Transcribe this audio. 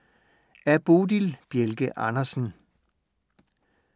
Af Bodil Bjelke Andersen